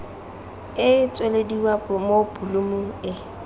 e tswelediwa mo bolumu e